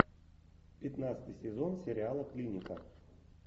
пятнадцатый сезон сериала клиника